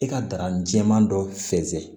I ka darani jɛman dɔ fensɛn